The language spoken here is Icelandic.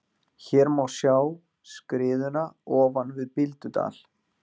Hér má sjá skriðuna ofan við Bíldudal.